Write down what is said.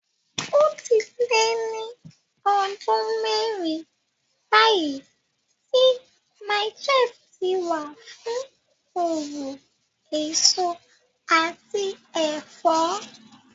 Ó ti lé ní ọdún mẹ́rin báyìí tí Mile 12 ti wà fún òwò èso àti ẹ̀fọ́.